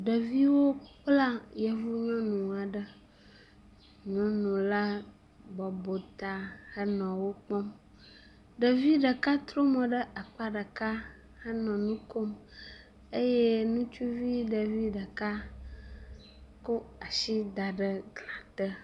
Ɖeviwo kpla yevuwoe no ŋua ɖe, nunola bɔbɔ ta henɔ wo kpɔm. Ɖevi ɖeka trɔ mo ɖe akpa ɖeka henɔ nu kom eye nutsuvi ɖevi ɖeka kɔ asi da ɖe glã te.